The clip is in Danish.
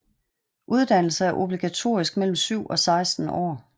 Uddannelse er obligatorisk mellem 7 og 16 år